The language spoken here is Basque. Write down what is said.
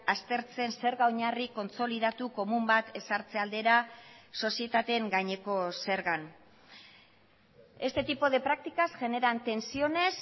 aztertzen zerga oinarri kontsolidatu komun bat ezartzea aldera sozietateen gaineko zergan este tipo de prácticas generan tensiones